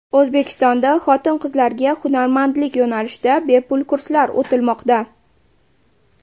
O‘zbekistonda xotin-qizlarga hunarmandlik yo‘nalishida bepul kurslar o‘tilmoqda.